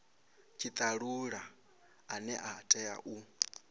tshitalula ane a tea u